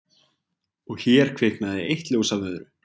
Og hér kviknaði eitt ljós af öðru